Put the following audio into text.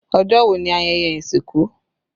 Ọjọ́ wo ni ayẹyẹ ìsìnkú?